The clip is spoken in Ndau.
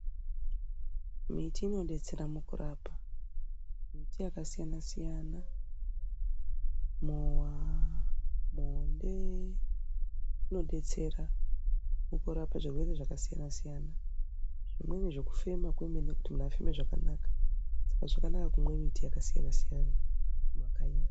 Miti inobetsera mukurapa miti yakasiyana-siyana mowa ,muonde unobetsera mukarape zvirwere zvakasiyana-siyana. Zvimweni zvekufema kwemene kuti muntu afeme zvakanaka saka zvakanaka kumwa miti yakasiyana-siyana mumakanyi.